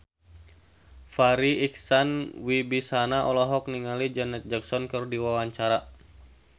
Farri Icksan Wibisana olohok ningali Janet Jackson keur diwawancara